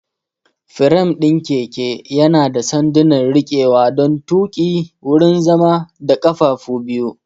Firam ɗin keke yana da sanduna rikewa don tuƙi, wurin zama, da ƙafafu biyu.